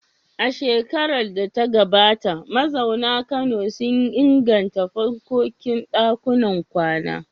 A shekarar da ta gabata, mazauna Kano sun inganta fankokin ɗakunan kwana.